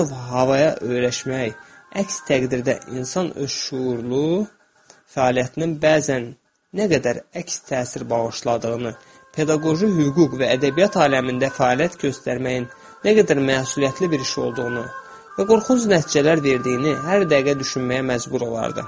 Hər növ havaya öyrəşmək, əks təqdirdə insan öz şüurlu fəaliyyətinin bəzən nə qədər əks təsir bağışladığını, pedaqoji hüquq və ədəbiyyat aləmində fəaliyyət göstərməyin nə qədər məsuliyyətli bir iş olduğunu və qorxunc nəticələr verdiyini hər dəqiqə düşünməyə məcbur olardı.